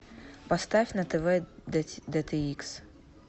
поставь на тв дт икс